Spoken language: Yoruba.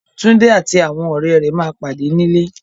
Túndé àti àwọn rẹ̀ ma pàdé nílé